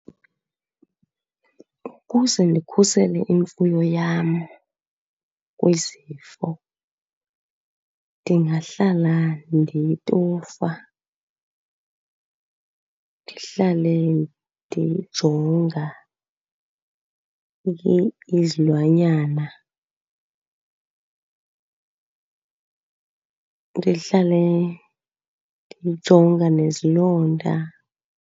Ukuze ndikhusele imfuyo yam kwizifo ndingahlala ndiyitofa, ndihlale ndiyijonga izilwanyana, ndihlale ndijonga nezilonda.